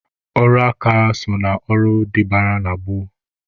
Ọrụ aka so na ọrụ dịbara na gboo.